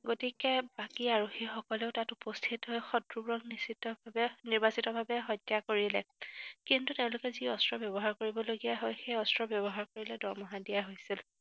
গতিকে বাকী আৰক্ষীসকলো তাত উপস্থিত হৈ শত্ৰুবোৰক নিশ্চিতভাৱে নিৰ্বাচিতভাৱে হত্যা কৰিলে। কিন্তু তেওঁলোকে যি অস্ত্ৰ ব্যৱহাৰ কৰিবলগীয়া হয়, সেই অস্ত্ৰ ব্যৱহাৰ কৰিলে দৰমহা দিয়া হৈছিল।